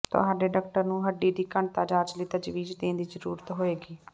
ਤੁਹਾਡੇ ਡਾਕਟਰ ਨੂੰ ਹੱਡੀ ਦੀ ਘਣਤਾ ਜਾਂਚ ਲਈ ਤਜਵੀਜ਼ ਦੇਣ ਦੀ ਜ਼ਰੂਰਤ ਹੋਏਗੀ